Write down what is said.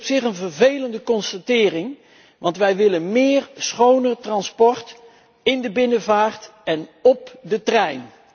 Dat is op zich een vervelende constatering, want wij willen meer schone transport in de binnenvaart en op de trein.